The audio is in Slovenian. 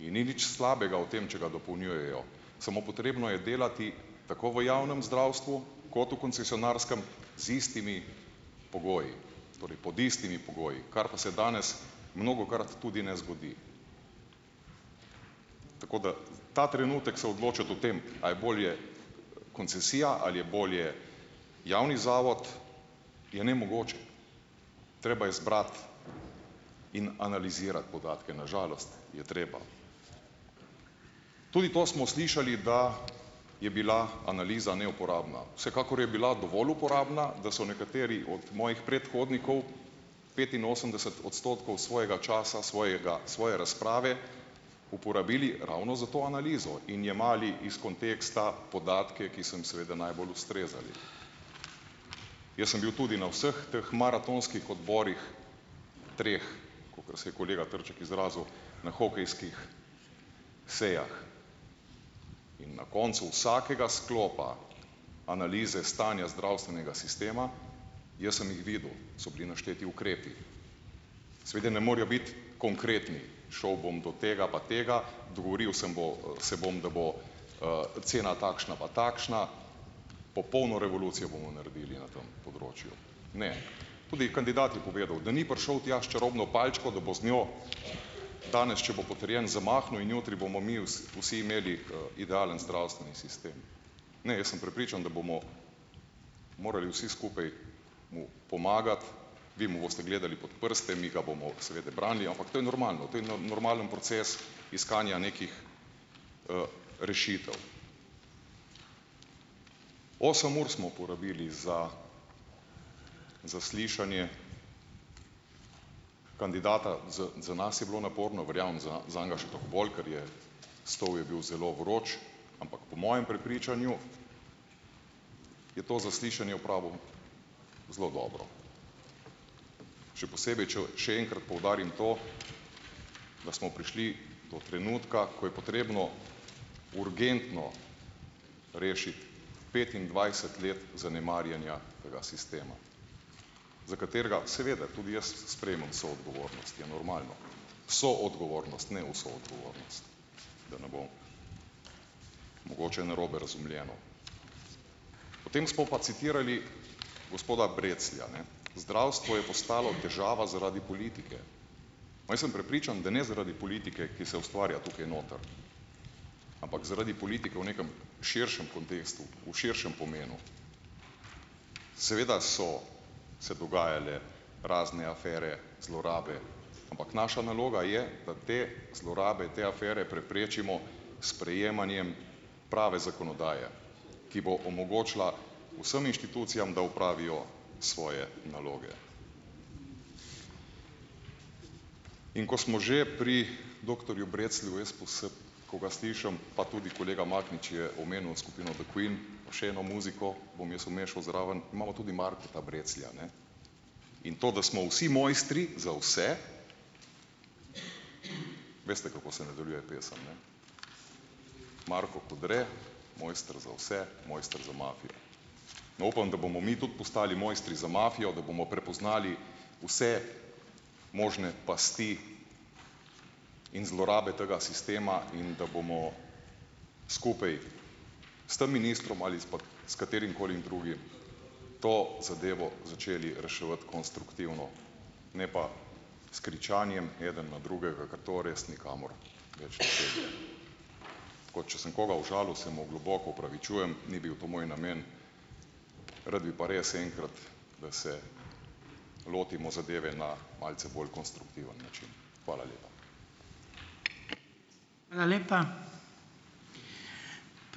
in ni nič slabega v tem, če ga dopolnjujejo, samo potrebno je delati tako v javnem zdravstvu kot v koncesionarskem z istimi pogoji, torej pod istimi pogoji, kar pa se danes mnogokrat tudi ne zgodi. Tako da, ta trenutek se odločati o tem, a je bolje koncesija ali je bolje javni zavod, je nemogoče. Treba je zbrati in podatke, na žalost je treba. Tudi to smo slišali, da je bila analiza neuporabna. Vsekakor je bila dovolj uporabna, da so nekateri od mojih predhodnikov, petinosemdeset odstotkov svojega časa, svojega svoje razprave uporabili ravno za to analizo in jemali iz konteksta podatke, ki so seveda najbolj ustrezali. Jaz sem bil tudi na vseh teh maratonskih odborih, treh, kakor se je kolega Trček izrazil, na hokejskih sejah in na koncu vsakega sklopa analize stanja zdravstvenega sistema, jaz sem jih videl, so bili našteti ukrepi. Seveda ne morejo biti konkretni, šel bom do tega pa tega, dogovoril sem bo, se bom, da bo, cena takšna pa takšna, popolno revolucijo bomo naredili na tem področju. Ne. Tudi kandidat je povedal, da ni prišel tja s čarobno palčko, da bo z njo danes, če bo potrjen, zamahnil, in jutri bomo mi vsi imeli, idealen zdravstveni sistem. Ne, jaz sem prepričan, da bomo morali vsi skupaj mu pomagati, vi mu boste gledali pot prste, mi ga bomo seveda branili, ampak to je normalno, to je normalen proces iskanja nekih, rešitev. Osem ur smo porabili za zaslišanje kandidata. Za, za nas je bilo naporno, verjamem, zanj še toliko bolj, kar je stol je bil zelo vroč, ampak po mojem prepričanju je to zaslišanje opravil zelo dobro. Še posebej, če še enkrat poudarim to, da smo prišli do trenutka, ko je potrebno urgentno rešiti petindvajset let zanemarjenja tega sistema za katerega seveda tudi jaz sprejmem vso odgovornost, ja, normalno. Soodgovornost, ne vso odgovornost, da ne bo mogoče narobe razumljeno. Potem smo pa citirali gospoda Breclja, ne. Zdravstvo je postalo težava zaradi politike. Pa jaz sem prepričan, da ne zaradi politike, ki se ustvarja tukaj noter, ampak zaradi politike v nekem širšem kontekstu, v širšem pomenu. Seveda so se dogajale razne afere, zlorabe, ampak naša naloga je, da te zlorabe, te afere preprečimo s sprejemanjem prave zakonodaje, ki bo omogočila vsem inštitucijam, da opravijo svoje naloge. In ko smo že pri doktorju Breclju, ko ga slišim, pa tudi kolega Mahnič je omenil skupino The Queen, pa še eno muziko bom jaz umešal zraven, imamo tudi Marka Breclja, ne, in to, da smo vsi mojstri za vse, veste, kako se nadaljuje pesem, ne? Marko Kodre mojster za vse, mojster za mafijo. No, upam, da bomo mi tudi postali mojstri za mafijo, da bomo prepoznali vse možne pasti in zlorabe tega sistema in da bomo skupaj s tem ministrom ali s pa s katerimkoli drugim, to zadevo začeli reševati konstruktivno, ne pa s kričanjem eden na drugega, ker to res nikamor več ne pelje. Tako, če sem koga užalil, se mu globoko opravičujem, ni bil to moj namen. Rad bi pa res enkrat, da se lotimo zadeve ne malce bolj konstruktiven način. Hvala lepa. Hvala lepa.